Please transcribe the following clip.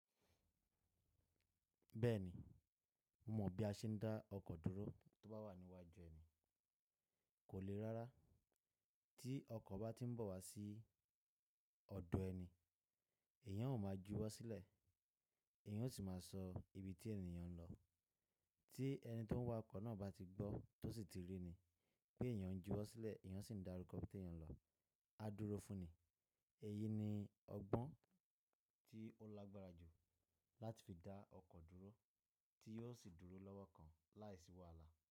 Bẹ́ẹ̀ni, mo mọ̀ bí a ṣe ń dá ọkọ̀ dúró tó bá wà ní iwájú ẹni. Kò le rárá, tí ọkọ̀ bá tí ń bọ̀ wá sí ọ̀dọ̀ ẹni, èèyàn ó máa juwọ́ sílẹ̀, èèyàn ó sì máa sọ ibi tí èèyàn ń lọ. Tí ẹni tí ó ń wa ọkọ̀ náà bá ti gbọ́ tó sì ti rí ni pé èèyàn ń juwọ́ sílẹ̀, èèyàn sì ń dárúkọ ibi tí èèyàn ń lọ, á dúró fún ni. Èyí ni ọgbọ́n tí ó lágbára jù láti fi dá ọkọ̀ dúró tí yóò sì dúró lọ́wọ́ kan láìsí wàhálà.